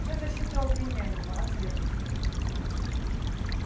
вся защита у обвиняемого от следователя